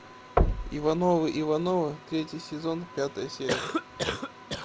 ивановы ивановы третий сезон пятая серия